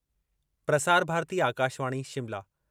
Prasar Bharati Akashvani Shimla